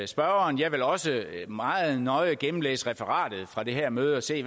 spørgeren jeg vil også meget nøje gennemlæse referatet fra det her møde og se